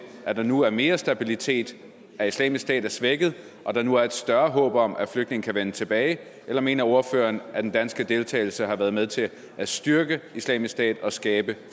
at der nu er mere stabilitet at islamisk stat er svækket og at der nu er et større håb om at flygtninge kan vende tilbage eller mener ordføreren at den danske deltagelse har været med til at styrke islamisk stat og skabe